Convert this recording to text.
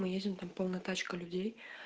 мы едем там полна тачка людей